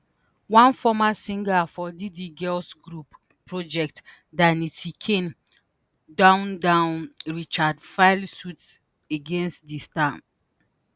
one former singer for diddy girls group project danity kane dawn dawn richard file suit against di star.